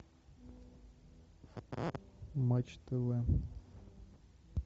матч тв